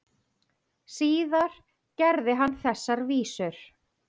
Síðar gerði hann þessar vísur: